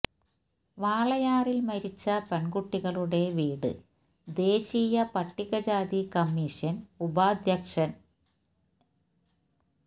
വാളയാറില് മരിച്ച പെണ്കുട്ടികളുടെ വീട് ദേശീയ പട്ടികജാതി കമ്മീഷന് ഉപാധ്യക്ഷന് എല്